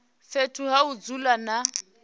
fhethu ha u dzula na